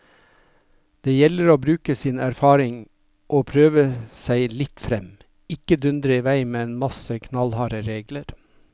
Det gjelder å bruke av sine erfaringer og prøve seg litt frem, ikke dundre i vei med en masse knallharde regler.